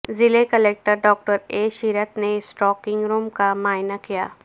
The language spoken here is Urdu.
ضلع کلکٹر ڈاکٹر اے شرت نے اسٹرانگ روم کا معائنہ کیا